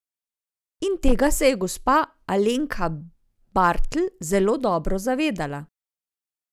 In tega se je gospa Alenka Bartl zelo dobro zavedala.